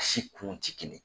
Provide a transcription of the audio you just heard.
Si kun ti kelen ye.